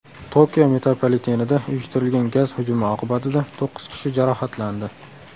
Tokio metropolitenida uyushtirilgan gaz hujumi oqibatida to‘qqiz kishi jarohatlandi.